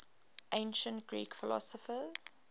ancient greek philosophers